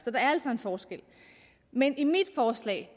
altså en forskel men i mit forslag